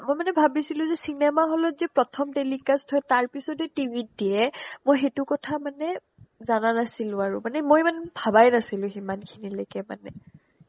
মই মানে ভাৱিছিলো যে cinema hall ত যে প্ৰথম telecast হয় তাৰপিছতহে tv ত দিয়ে মই সেইটো কথা মানে জানা নাছিলো আৰু মানে মই ইমান ভাবাই নাছিলো সিমানখিনি লৈকে মানে